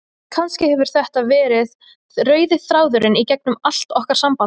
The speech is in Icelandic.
Kannski hefur þetta verið rauði þráðurinn í gegnum allt okkar samband.